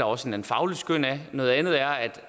også et fagligt skøn at noget andet er